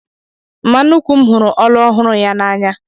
Mma nnuku m hụrụ olu ọhụrụ ya n'anya